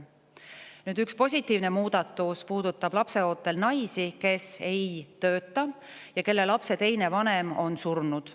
Üks positiivne muudatus puudutab lapseootel naisi, kes ei tööta ja kelle lapse teine vanem on surnud.